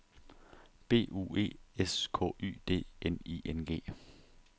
B U E S K Y D N I N G